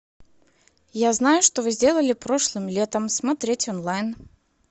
я знаю что вы сделали прошлым летом смотреть онлайн